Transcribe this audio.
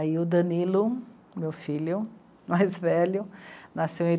Aí o Danilo, meu filho mais velho, nasceu em...